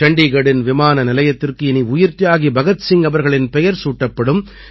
சண்டீகட்டின் விமான நிலையத்திற்கு இனி உயிர்த்தியாகி பகத் சிங் அவர்களின் பெயர் சூட்டப்படும்